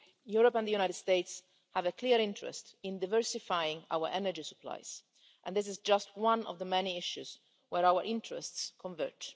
Europe and the USA have a clear interest in diversifying our energy supplies, and this is just one of the many issues where our interests converge.